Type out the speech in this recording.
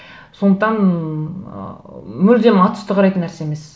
сондықтан ыыы мүлдем атүсті қарайтын нәрсе емес